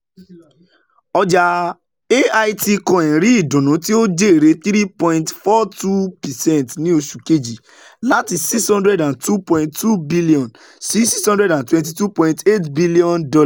Ọjà Altcoin rí ìdùnnú tí ó jèrè three point four two percent ní oṣù kejì láti $ six hundred two point two billion sí $ six hundred twenty two point eight billion.